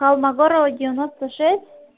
холмогорова девяносто шесть